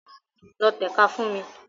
Lọ tẹ̀ka fún mi!